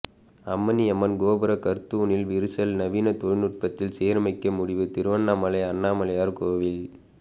அம்மணி அம்மன் கோபுர கற்தூணில் விரிசல் நவீன தொழில்நுட்பத்தில் சீரமைக்க முடிவு திருவண்ணாமலை அண்ணாமலையார் கோயில்